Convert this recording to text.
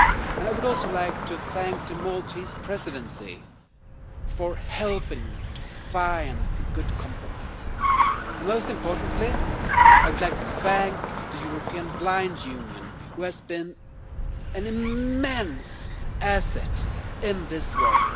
I would also like to thank the Maltese Presidency for helping to find a good compromise. Most importantly, I would like to thank the European Blind Union, which has been an immense asset in this work.